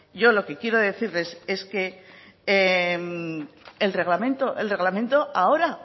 yo lo que quiero decirles es que el reglamento ahora